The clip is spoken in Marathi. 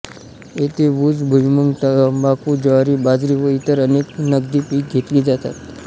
येथे ऊस भुइमूग तंबाखू ज्वारी बाजरी व इतर अनेक नगदी पीक घेतली जातात